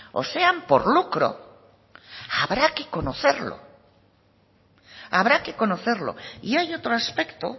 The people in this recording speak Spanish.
o sean por lucro habrá que conocerlo y hay otro aspecto